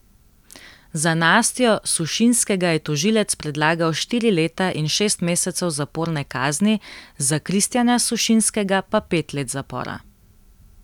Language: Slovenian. Za Nastjo Sušinskega je tožilec predlagal štiri leta in šest mesecev zaporne kazni, za Kristjana Sušinskega pa pet let zapora.